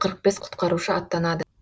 қырық бес құтқарушы аттанады